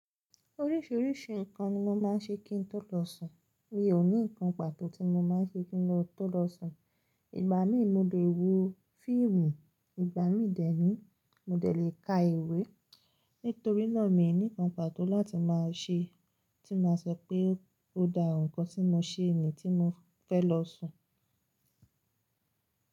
Oríṣìíríṣìí ǹkan ni mo máa ń ṣe kí n tó lọ sùn. Mi ò ní ǹkan pàtó tí mo máa ń ṣe kí n tó lọ sùn. Ìgbà mi mo lè wo fíìmù, ìgbà mi dẹ́ni mo dẹ lè ka ìwé. Nítorínà mi ò ní ǹkan pàtó láti máa ṣe tí máa sọ pé ó dá ǹkan tí mo ṣe ni tí mo fẹ́ lọ sùn.